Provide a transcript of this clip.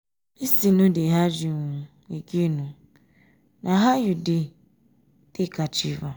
dis thing no dey hard you um again oo na how you dey um take achieve am? um